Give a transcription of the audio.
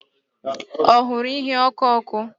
Ọ hụrụ ihe ọkụ ọkụ?